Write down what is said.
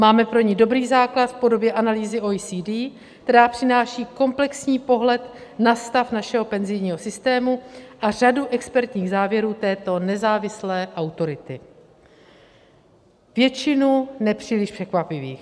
Máme pro ni dobrý základ v podobě analýzy OECD, která přináší komplexní pohled na stav našeho penzijního systému a řadu expertních závěrů této nezávislé autority, většinu nepříliš překvapivých.